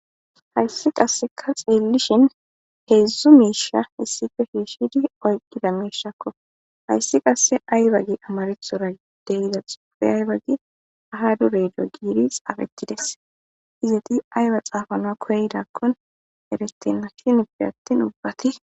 hayssi qasseka xeellishin heedzdzu miisha hissife fhiishshidi oyqqida miishakko hayssi qasse aybagi amarethora deyiza xuufe aybagi aha duredo giiri xaafettides izati ayba xaafanoa koydakkon eretenna hineppe attin ubbati